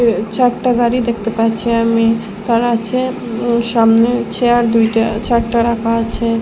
এই চারটে গাড়ি দেখতে পাচ্ছি আমি আর আছে সামনে চেয়ার দুইটা চারটা রাখা আছে।